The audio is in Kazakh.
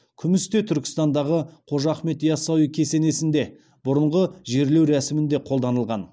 күміс те түркістандағы қожа ахмет яссауи кесенесінде бұрынғы жерлеу рәсімінде қолданылған